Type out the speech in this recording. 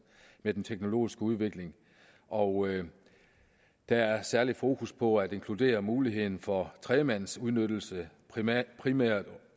med den teknologiske udvikling og der er særlig fokus på at inkludere muligheden for tredjemandsudnyttelse primært primært